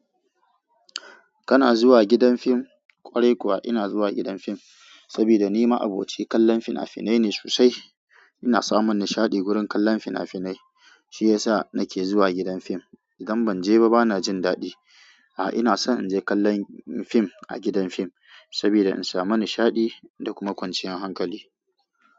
Kana zuwa gidan fim? Kwarai kuwa ina zuwa gidan fim, saboda ni ma'aboci kallon fina-finai ne sosai. Ina samun nishaɗi wurin kallon fina-finai, shi yasa nake zuwa gidan fim. Idan ban je ba bana jin daɗi. A'a, ina son in je kallon fim a gidan fim, saboda in samu nishaɗi da kuma kwanciyar hankali.